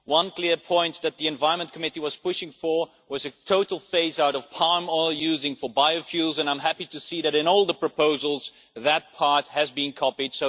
One clear point that the ENVI Committee was pushing for was a total phase out of palm oil use for biofuels. I am happy to see that in all the proposals, that part has been copied.